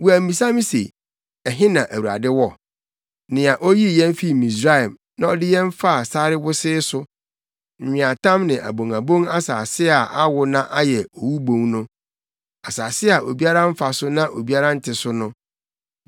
Wɔammisa se, ‘Ɛhe na Awurade wɔ? Nea oyii yɛn fii Misraim na ɔde yɛn faa sare wosee so, nweatam ne abonabon asase a awo na ayɛ owubon no. Asase a obiara mfa so na obiara nte so no.’